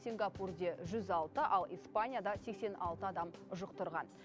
сингапурда жүз алты ал испанияда сексен алты адам жұқтырған